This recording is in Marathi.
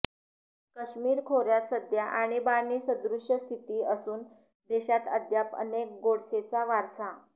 काश्मीर खोऱयात सध्या आणीबाणीसदृश स्थिती असून देशात अद्याप अनेक गोडसेचा वारसा